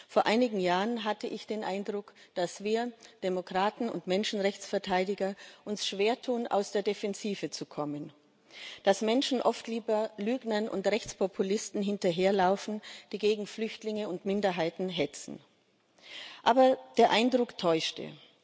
Vor einigen Jahren hatte ich den Eindruck, dass wir Demokraten und Menschenrechtsverteidiger uns schwertun, aus der Defensive zu kommen, dass Menschen oft lieber Lügnern und Rechtspopulisten hinterherlaufen, die gegen Flüchtlinge und Minderheiten hetzen. Aber der Eindruck täuschte.